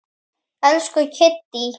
Elsku Kiddý.